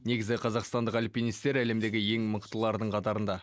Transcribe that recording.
негізі қазақстандық альпинистер әлемдегі ең мықтылардың қатарында